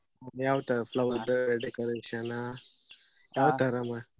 ಯಾವ್ ತರ flower decoration ಆ .